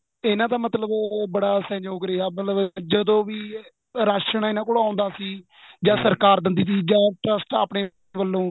ਤੇ ਇਹਨਾ ਦਾ ਮਤਲਬ ਉਹ ਉਹ ਬੜਾ ਸਹਿਯੋਗ ਰਿਹਾ ਮਤਲਬ ਜਦੋਂ ਵੀ ਰਾਸ਼ਣ ਇਹਨਾ ਕੋਲ ਆਉਦਾ ਸੀ ਜਾਂ ਸਰਕਾਰ ਦਿੰਦੀ ਤੀ ਜਾਂ trust ਆਪਣੇਂ ਵੱਲੋਂ